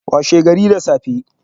Washe gari da safe